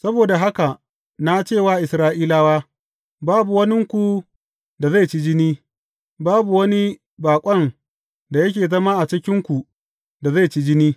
Saboda haka na ce wa Isra’ilawa, Babu waninku da zai ci jini, babu wani baƙon da yake zama a cikinku da zai ci jini.